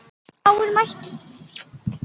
Fáir mættu.